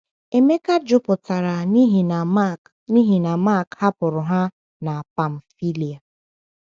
Emeka jụpụtara n’ihi na Mark n’ihi na Mark hapụrụ ha na Pamfília.